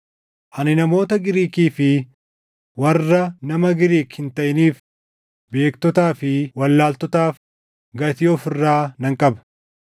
Ani namoota Giriikii fi warra nama Giriik hin taʼiniif, beektotaa fi wallaaltotaaf gatii of irraa nan qaba.